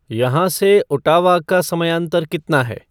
यहाँ से ओट्टावा का समयांतर कितना है